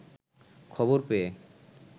খবর পেয়ে